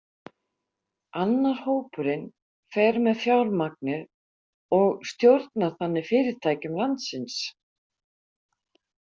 Annar hópurinn fer með fjármagnið og stjórnar þannig fyrirtækjum landsins.